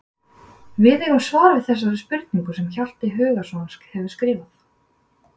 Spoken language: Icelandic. Við eigum svar við þessari spurningu sem Hjalti Hugason hefur skrifað.